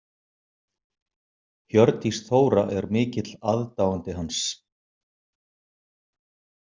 Hjördís Þóra er mikill aðdáandi hans.